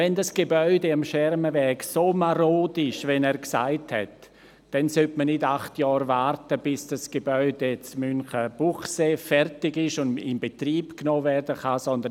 Wenn das Gebäude am Schermenweg derart marode ist, wie er gesagt hat, sollte man nicht acht Jahre warten, bis das Gebäude in Münchenbuchsee fertig ist und in Betrieb genommen werden kann.